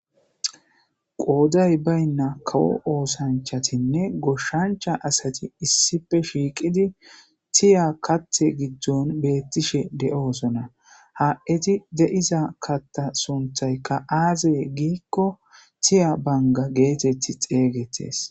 Qooday baynna kawo oosanchatinne goshancha asati issippe shiiqudi tiiya kaththe giddoon bettishe doosona. Ha eti de'iza katta sunttayka aaze gikko tiiya banga getettidi xegetees.